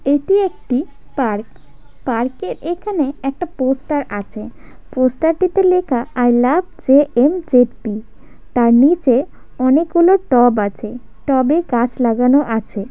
এটি একটি park park -এর এখানে একটা পোস্টার আছে পোস্টার -টিতে লেখা I love J . M . J . P.. তার নিচে অনেক গুলো টব আছে টবে গাছ লাগানো আছে।